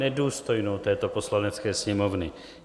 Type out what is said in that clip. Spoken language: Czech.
Nedůstojnou této Poslanecké sněmovny!